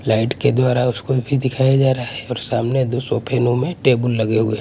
Light के द्वारा उसको भी दिखाया जा रहा है और सामने दो सोफे नो में टेबल लगे हुए है।